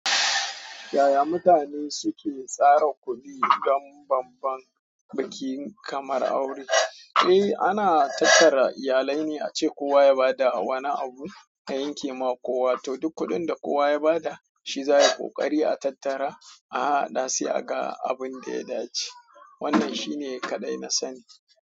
Yaya mutane suke tsara kuɗi don bambam bikin kamar aure? Eh, ana tattara iyalai ne ace kowa ya bada wani abu ta yanke ma kowa, to duk kuɗin da kowa ya bada shi zai yi ƙoƙari a tattara, aha aha da sai a ga abun da ya dace. Wannan shi ne kaɗai na sani.